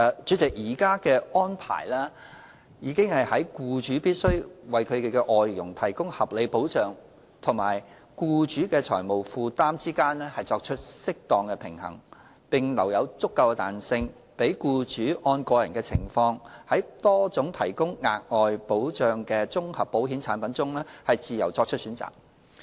主席，現行的安排已在僱主必須為其外傭提供合理保障及僱主的財務負擔之間作出適當平衡，並留有足夠彈性，讓僱主按個人情況在多種提供額外保障的綜合保險產品中自由作出選擇。